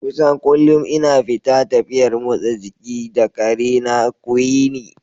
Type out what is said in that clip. Kusan kullum ina fita tafiyar motsa jiki da ƙarena Quinnie.